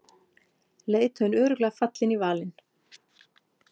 Leiðtoginn örugglega fallinn í valinn